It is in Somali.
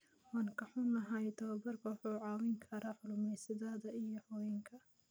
Waan ka xunnahay, tababarku wuxuu caawin karaa kalluumaysatada iyo haweenka.